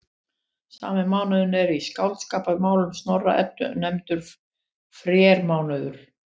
Sami mánuður er í Skáldskaparmálum Snorra-Eddu nefndur frermánuður.